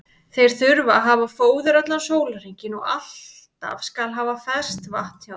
Þeir þurfa að hafa fóður allan sólarhringinn og alltaf skal haft ferskt vatn hjá þeim.